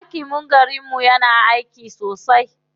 Hakimin garinmu yana aiki sosai.